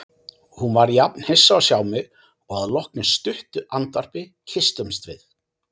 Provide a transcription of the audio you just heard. Hún var jafn hissa að sjá mig og að loknu stuttu andvarpi kysstumst við.